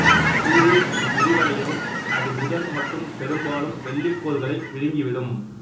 சூரியன் விரிவடையவும் அது புதன் மற்றும் பெரும்பாலும் வெள்ளி கோள்களை விழுங்கிவிடும்